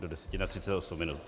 Do deseti, na 38 minut.